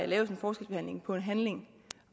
laves en forskelsbehandling på en handling